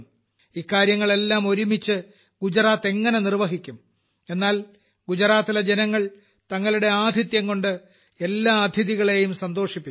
ഇക്കാര്യങ്ങളെല്ലാം ഒരുമിച്ച് ഗുജറാത്ത് എങ്ങനെ നിർവ്വഹിക്കും എന്നാൽ ഗുജറാത്തിലെ ജനങ്ങൾ തങ്ങളുടെ ആതിഥ്യംകൊണ്ട് എല്ലാ അതിഥികളെയും സന്തോഷിപ്പിച്ചു